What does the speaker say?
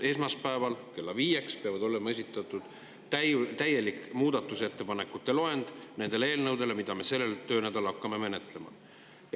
Esmaspäeval kella viieks peab meile olema esitatud täielik muudatusettepanekute loend nende eelnõude kohta, mida me sellel töönädalal hakkame menetlema.